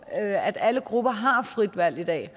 at alle grupper har frit valg i dag